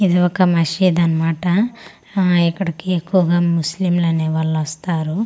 ఇది ఒక మాషీద్ అన్నమాట ఆ ఇక్కడికి ఎక్కువగా ముస్లిం అనే వాలు వస్తారు అలాగే.